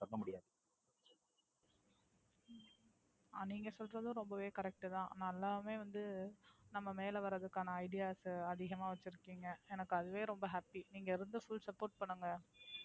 ஆ. நீங்க சொல்றது ரொம்பவே Correct தான். நம்ம மேல வர்தக்கான Ideas அதிகமா வைச்சிருக்கிங்க. எனக்கு அதுவே ரொம்ப Happy நீங்க எனக்கு Full support பண்ணுங்க.